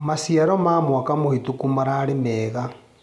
Maciaro ma mwaka mũhetũku mararĩ mega.